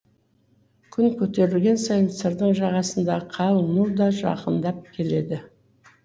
күн көтерілген сайын сырдың жағасындағы қалың ну да жақындап келеді